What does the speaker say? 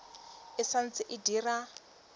e sa ntse e dira